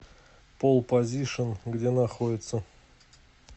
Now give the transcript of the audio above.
пол позишн где находится